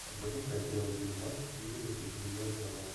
запускай клевый фильмас в стиле выступление ученого